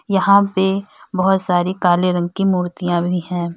यहां पे बहोत सारी काले रंग की मूर्तियां भी है।